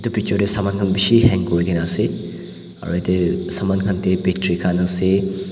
edu picture tae saman khan bishi hang kurikaena ase aro yatae saman khan tae battery khan ase.